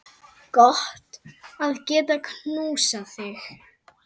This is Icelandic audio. Gott að geta knúsað þig.